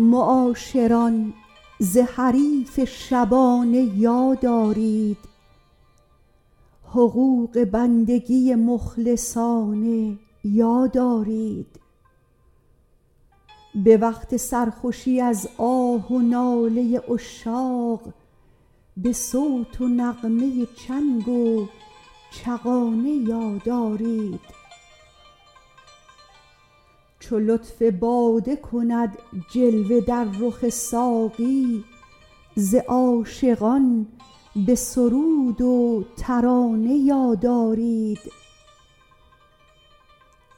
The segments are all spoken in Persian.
معاشران ز حریف شبانه یاد آرید حقوق بندگی مخلصانه یاد آرید به وقت سرخوشی از آه و ناله عشاق به صوت و نغمه چنگ و چغانه یاد آرید چو لطف باده کند جلوه در رخ ساقی ز عاشقان به سرود و ترانه یاد آرید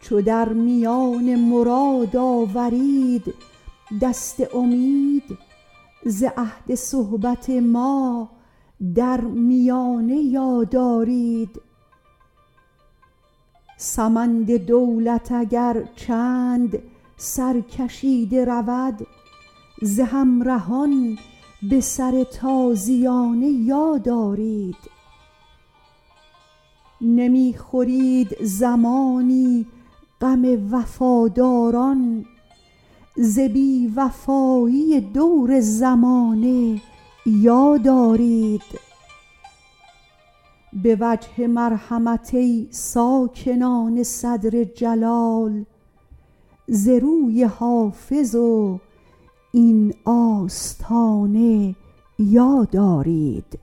چو در میان مراد آورید دست امید ز عهد صحبت ما در میانه یاد آرید سمند دولت اگر چند سرکشیده رود ز همرهان به سر تازیانه یاد آرید نمی خورید زمانی غم وفاداران ز بی وفایی دور زمانه یاد آرید به وجه مرحمت ای ساکنان صدر جلال ز روی حافظ و این آستانه یاد آرید